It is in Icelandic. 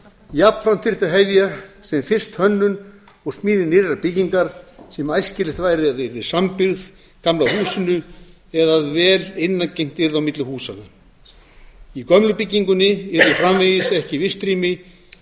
jafnframt þyrfti að hefja sem fyrst hönnun og smíði nýrrar byggingar sem æskilegt væri að yrði sambyggð gamla húsinu eða að vel innangengt yrði á milli húsanna í gömlu byggingunni yrðu framvegis ekki vistrými